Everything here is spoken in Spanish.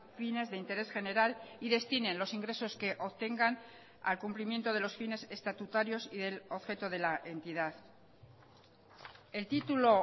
fines de interés general y destinen los ingresos que obtengan al cumplimiento de los fines estatutarios y del objeto de la entidad el título